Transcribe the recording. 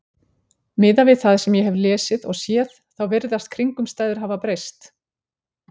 Miðað við það sem ég hef lesið og séð, þá virðast kringumstæður hafa breyst.